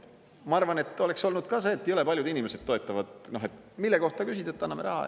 Ma arvan, et oleks olnud ka see, et jõle paljud inimesed toetavad, mille kohta küsida, et anname raha.